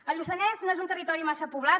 el lluçanès no és un territori massa poblat